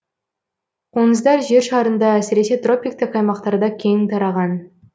қоңыздар жер шарында әсіресе тропиктік аймақтарда кең тараған